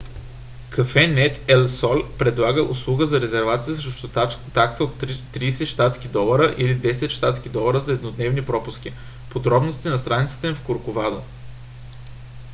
cafenet el sol предлага услуга за резервация срещу такса от 30 щ.д. или 10 щ.д. за еднодневни пропуски; подробности на страницата им в корковадо